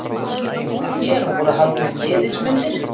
Hér voru haldnir miðilsfundir.